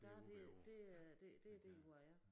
Der det det er det det derudaf ja